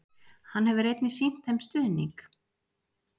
hann hefur einnig sýnt þeim stuðning